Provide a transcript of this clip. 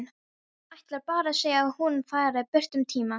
Ætlar bara að segja að hún fari burt um tíma.